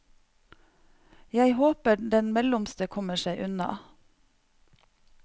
Jeg håper den mellomste kommer seg unna.